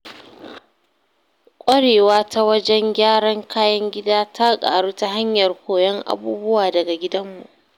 Kwarewa ta wajen gyaran kayan gida ta ƙaru ta hanyar koyon abubuwa daga gidanmu.